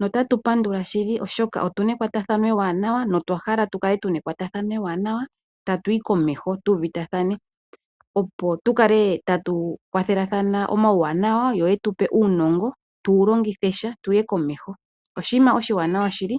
notatu pandula shili, oshoka otu na ekwatathano ewanawa notwa hala tu kale tu na ekwatathano ewanawa tatu yi komeho tu uvutathane, opo tu kale tatu kwathelathana omawuwanawa yo ye tu pe uunongo tu wu longithe sha tu ye komeho. Oshinima oshiwanawa shili.